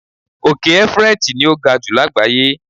Òkè Everest ni o ga ju lágbàáyé